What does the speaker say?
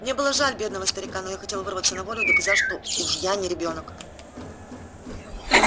мне было жаль бедного старика но я хотел вырваться на волю и доказать что уж я не ребёнок